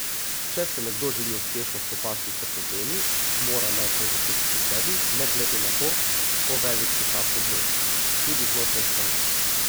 Če se nekdo želi uspešno spopasti s problemi, mora najprej začeti pri sebi ne glede na to, kako velik je ta problem, tudi znotraj stranke.